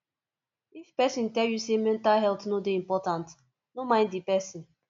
if pesin tell you sey mental health no dey important no mind di pesin